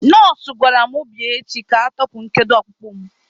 Nọọsụ gwara mụ bịa echi ka ọ tọpụ nkedo ọkpụkpụ mụ.